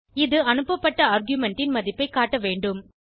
இது அனுப்பப்பட்ட ஆர்குமென்ட் ன் மதிப்பை காட்டவேண்டும்